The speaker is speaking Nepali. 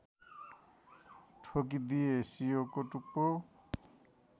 ठोकिदिए सियोको टुप्पो